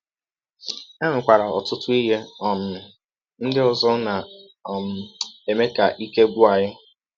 E nwekwara ọtụtụ ihe um ndị ọzọ na um - eme ka ike gwụ anyị.